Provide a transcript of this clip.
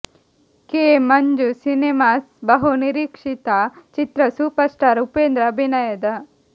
K Manju cinemas ಬಹು ನಿರೀಕ್ಷಿತ ಚಿತ್ರ ಸೂಪರ್ ಸ್ಟಾರ್ ಉಪೇಂದ್ರ ಅಭಿನಯದ